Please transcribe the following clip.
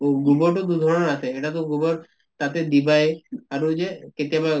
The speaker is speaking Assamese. তʼ গোবৰ টো দুধৰণৰ আছে, এটাটো গোবৰ তাতে দিবাই আৰু যে কেতিয়াবা